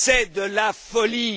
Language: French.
C'est de la folie!